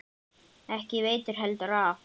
Ekki veitti heldur af.